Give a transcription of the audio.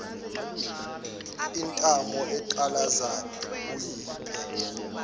intamo eqalaza uyephi